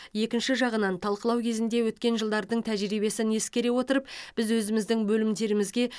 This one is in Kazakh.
екінші жағынан талқылау кезінде өткен жылдардың тәжірибесін ескере отырып біз өзіміздің бөлімдерімізге